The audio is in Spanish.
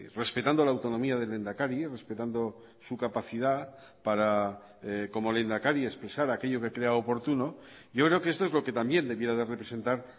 respetando la autonomía del lehendakari respetando su capacidad para como lehendakari expresar aquello que crea oportuno yo creo que esto es lo que también debiera de representar